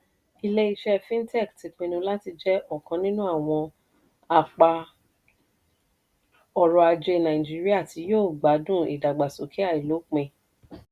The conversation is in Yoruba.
ilé-iṣẹ́ fintech ti pinnu láti jẹ́ ọ̀kan nínú àwọn apá ọrọ̀-ajé nàìjíríà tí yóò gbádùn ìdàgbàsókè àìlópin.